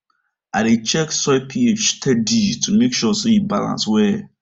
i dey check soil ph steady to make sure say e balance well